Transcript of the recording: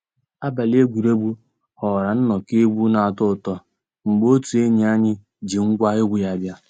Àbàlí égwurégwu ghọ́ọ́rà nnọ́kọ́ égwu ná-àtọ́ ụtọ́ mgbé ótú ényíàny ji ngwa égwu yá bia.